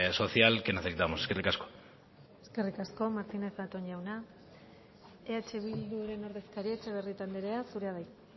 social que necesitamos eskerrik asko eskerrik asko martínez zatón jauna eh bilduren ordezkaria etxebarrieta anderea zurea da hitza